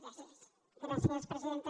gràcies presidenta